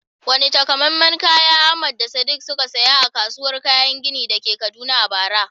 Wane takamaiman kaya Ahmad da Sadiq suka saya a kasuwar kayan gini da ke Kaduna a bara?